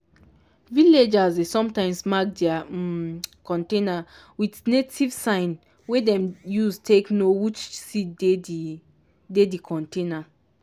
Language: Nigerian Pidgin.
villagers dey sometimes mark their um container with native sign wey dem use take know which seed dey di dey di container.